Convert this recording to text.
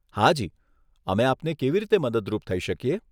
હાજી, અમે આપને કેવી રીતે મદદરૂપ થઇ શકીએ?